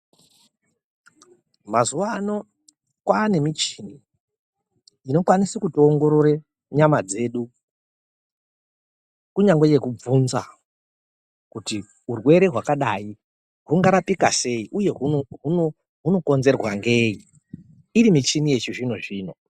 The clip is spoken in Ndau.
Mazuvano kwane michini inokwanise kutiongorore nyama dzedu. Kunyangwe yekubvunza kuti urwere hwakadai hungarapika sei uye hunokonzerwa ngei, Iri michini yechizvino-zvino.